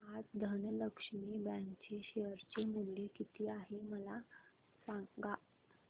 आज धनलक्ष्मी बँक चे शेअर चे मूल्य किती आहे मला सांगा